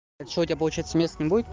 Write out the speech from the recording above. это что у тебя получается мест не будет